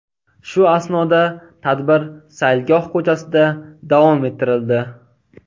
Shu asnoda tadbir saylgoh ko‘chasida davom ettirildi.